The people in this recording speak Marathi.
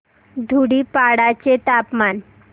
धुडीपाडा चे तापमान